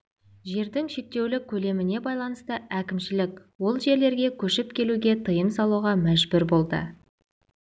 жердің шектеулі көлеміне байланысты әкімшілік ол жерлерге көшіп келуге тыйым салуға мәжбүр болды